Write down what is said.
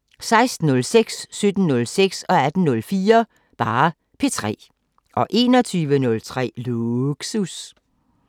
16:06: P3 17:06: P3 18:04: P3 21:03: Lågsus